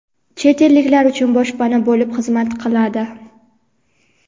chet elliklar uchun boshpana bo‘lib xizmat qiladi.